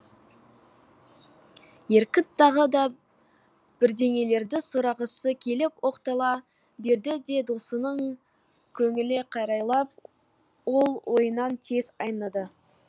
еркін тағы да бірдеңелерді сұрағысы келіп оқтала берді де досының көңіліне қарайлап ол ойынан тез айныды